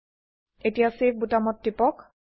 এতিয়া চেভ বোতামত টিপক